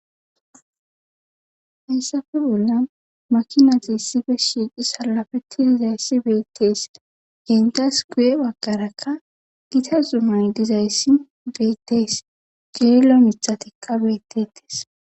hessafe bolla makina xiissife shiiqi salafeti dizayssi beettees gendas guwe bagqarakka gita zuman dizayssi beettees geelo mithatikka bettetees